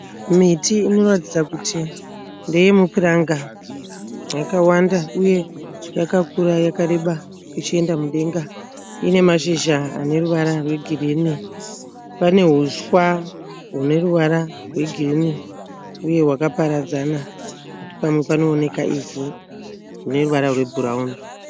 Miti inoratidza kuti ndeye mupuranga. Yakawanda uye yakakura yakareba ichienda mudenga. Ine mashizha ane ruvara rwegirinhi. Pane huswa hune ruvara rwegirinhi uye hwakaparadzana pamwe panooneka ivhu rine ruvara rwebhurawuni.